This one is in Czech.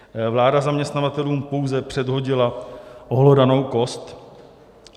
Vláda zaměstnavatelům pouze předhodila ohlodanou kost.